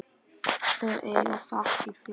Þau eiga þakkir fyrir.